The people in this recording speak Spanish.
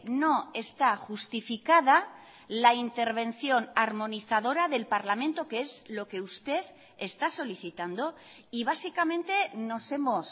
no está justificada la intervención armonizadora del parlamento que es lo que usted está solicitando y básicamente nos hemos